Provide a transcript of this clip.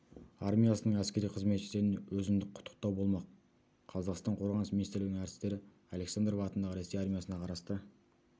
армиясының әскери қызметшілеріне өзіндік құттықтау болмақ қазақстан қорғаныс министрлігінің әртістері александров атындағы ресей армиясына қарасты